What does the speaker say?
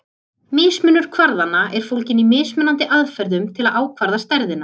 Mismunur kvarðanna er fólginn í mismunandi aðferðum til að ákvarða stærðina.